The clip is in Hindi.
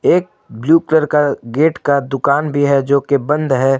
एक ब्लू कलर का गेट का दुकान भी है जो कि बंद है।